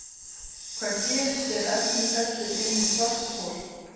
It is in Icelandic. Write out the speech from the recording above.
Hvað gerist er efni fellur inn í svarthol?